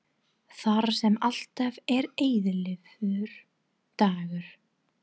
Þar sem alltaf er eilífur dagur.